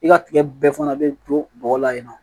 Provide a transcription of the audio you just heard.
I ka tigɛ bɛɛ fana bɛ to bɔgɔ la yen nɔ